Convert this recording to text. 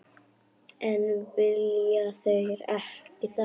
En vilja þeir gera það?